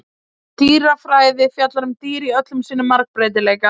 dýrafræði fjallar um dýr í öllum sínum margbreytileika